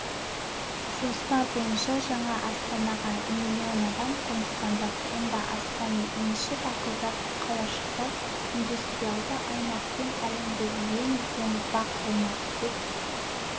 жоспар бойынша жаңа астанаға млн адам қоныстанбақ онда астам мешіт ақылды қалашықтар индустриялды аймақ пен әлемдегі ең үлкен бақ болмақ деп